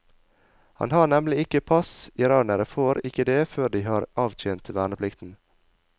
Han har nemlig ikke pass, iranere får ikke det før de har avtjent verneplikten.